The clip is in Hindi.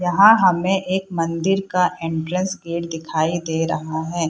यहाँ हमें एक मंदिर का एंट्रेंस गेट दिखाई दे रहा है।